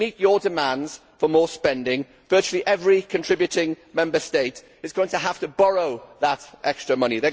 To meet your demands for more spending, virtually every contributing Member State is going to have to borrow that extra money.